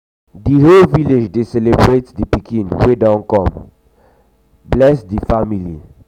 the whole village dey celebrate the pikin wey don come um bless the um family.